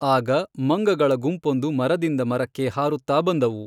ಆಗ, ಮಂಗಗಳ ಗುಂಪೊಂದು ಮರದಿಂದ ಮರಕ್ಕೆ ಹಾರುತ್ತಾ ಬಂದವು.